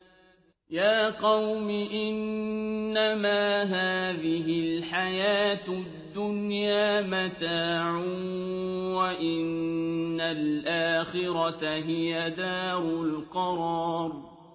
يَا قَوْمِ إِنَّمَا هَٰذِهِ الْحَيَاةُ الدُّنْيَا مَتَاعٌ وَإِنَّ الْآخِرَةَ هِيَ دَارُ الْقَرَارِ